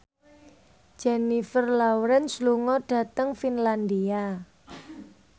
Jennifer Lawrence lunga dhateng Finlandia